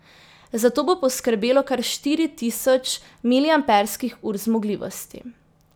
Za to bo poskrbelo kar štiri tisoč miliamperskih ur zmogljivosti.